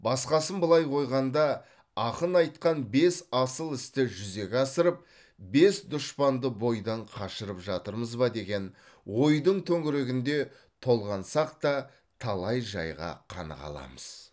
басқасын былай қойғанда ақын айтқан бес асыл істі жүзеге асырып бес дұшпанды бойдан қашырып жатырмыз ба деген ойдың төңірегінде толғансақ та талай жайға қаныға аламыз